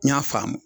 N y'a faamu